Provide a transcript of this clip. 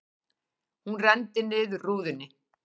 Hún renndi niður rúðunni.